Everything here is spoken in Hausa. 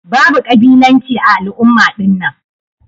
Babu kabilanci ã al'umma dinnan.